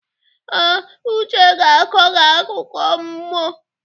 Ee, Uche ga-akọ gị akụkọ mmụọ.